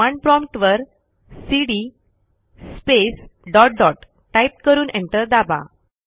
command prompt वरcd space dot dot type करून enter दाबा